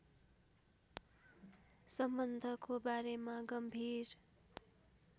सम्बन्धको बारेमा गम्भीर